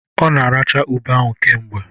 Ọ na-aracha ube ahụ kemgbe